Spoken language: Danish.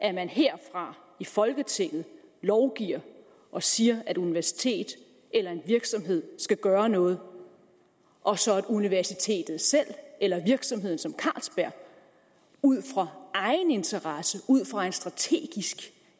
at man her fra folketinget lovgiver og siger at et universitet eller en virksomhed skal gøre noget og så at universitetet selv eller en virksomhed som carlsberg ud fra egen interesse ud fra en strategisk